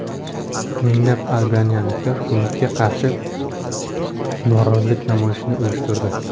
Minglab albaniyaliklar hukumatga qarshi norozilik namoyishini uyushtirdi.